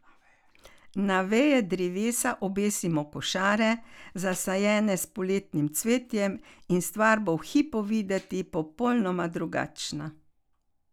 Na veje drevesa obesimo košare, zasajene s poletnim cvetjem, in stvar bo v hipu videti popolnoma drugačna.